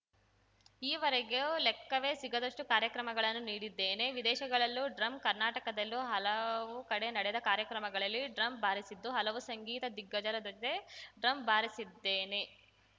ಈವರೆಗೂ ಲೆಕ್ಕವೇ ಸಿಗದಷ್ಟುಕಾರ್ಯಕ್ರಮಗಳನ್ನು ನೀಡಿದ್ದೇನೆ ವಿದೇಶಗಳಲ್ಲೂ ಡ್ರಮ್‌ ಕರ್ನಾಟಕದಲ್ಲಿ ಹಲವು ಕಡೆ ನಡೆದ ಕಾರ್ಯಕ್ರಮಗಳಲ್ಲಿ ಡ್ರಮ್‌ ಬಾರಿಸಿದ್ದು ಹಲವು ಸಂಗೀತ ದಿಗ್ಗಜರ ಜೊತೆ ಡ್ರಮ್‌ ಬಾರಿಸಿದ್ದೇನೆ